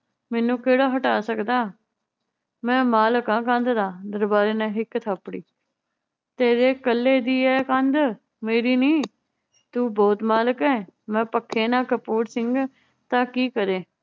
ਮੈਨੂੰ ਕਿਹੜਾ ਹਟਾ ਸਕਦਾ, ਮੈ ਮਾਲਕ ਆ ਕੰਧ ਦਾ ਦਰਬਾਰੀ ਨੇ ਹਿੱਕ ਥਾਪੜੀ, ਤੇਰੇ ਕੱਲੇ ਦੀ ਏ ਕੰਧ ਮੇਰੀ ਨੀ? ਤੂੰ ਬਹੁਤ ਮਾਲਕ ਏ, ਮੈ ਨਾ ਕਪੂਰ ਸਿੰਘ ਤਾਂ ਕੀ ਕਰੇ।